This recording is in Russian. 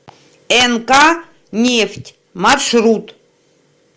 нк нефть маршрут